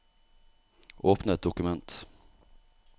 Åpne et dokument